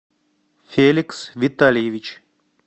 феликс витальевич